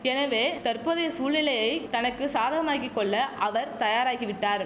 எனவே தற்போதைய சூழ்நிலையை தனக்கு சாதகமாக்கி கொள்ள அவர் தயாராகிவிட்டார்